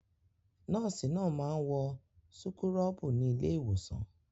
Nọ́ọ́sì náà máa ń wọ súkúrọ́bù ní ilé-ìwòsàn.